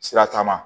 Sira taama